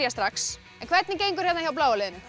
strax en hvernig gengur hérna hjá bláa liðinu